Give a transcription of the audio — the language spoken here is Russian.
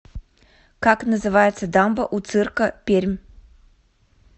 как называется дамба у цирка пермь